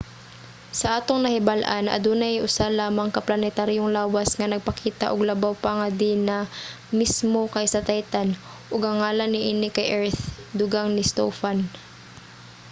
sa atong nahibal-an adunay usa lamang ka planetaryong lawas nga nagpakita og labaw pa nga dinamismo kaysa titan ug ang ngalan niini kay earth, dugang ni stofan